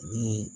Ni